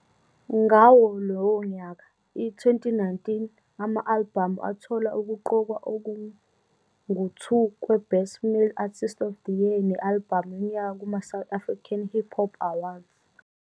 Ngawo lowo nyaka, i-2019, ama-albhamu athola ukuqokwa okungu-2 kwe-Best Male Artist of the Year ne-albhamu yonyaka kuma- South African Hip Hop Awards.